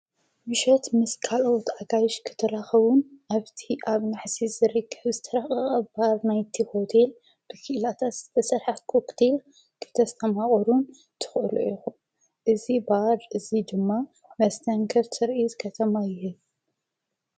ሚሸት ምስ ካልኦት ኣጋይሽ ክተልኸቡን ኣብቲ ኣብ ናሕሲስ ዝሪክሕ ስትረቐ ባር ናይቲ ሁቴል ብኪላታስ ዝተሠልሐ ክግዲል ክተስተማቑሩን ትቕኡሉ ኢኹ እዝ ባድ እዙይ ድማ መስተንገር ትርኢዝ ከተማ እየ።